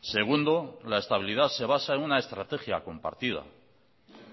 segundo la estabilidad se basa en una estrategia compartida